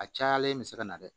A cayalen bɛ se ka na dɛ